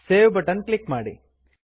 save button click ಮಾಡಿ